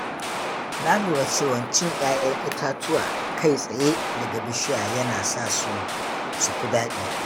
Na lura cewa cin 'ya'yan itatuwa kai tsaye daga bishiya yana sa su fi daɗi.